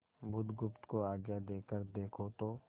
बुधगुप्त को आज्ञा देकर देखो तो